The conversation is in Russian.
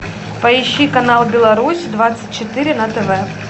поищи канал беларусь двадцать четыре на тв